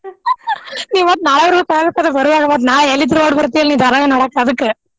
ಇವತ್ ನಾಳೆರೂ ಆಗುತ್ ಬರುವಾಗ ಮತ್ ನಾಳ್ ಎಲ್ಲಿದ್ರೂ ಓಡ್ ಬರ್ತೀಯಲ್ ನೀ ಧಾರಾವಾಹಿ ನೋಡಾಕ್ ಅದಕ್ಕ.